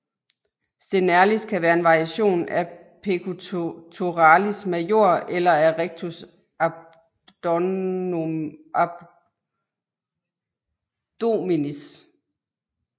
Sternalis kan være en variation af pectoralis major eller af rectus abdominis